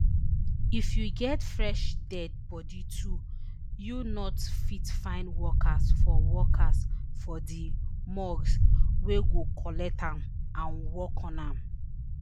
if you get fresh dead bodi too you not fit find workers for workers for di morgue wey go collect am and work on am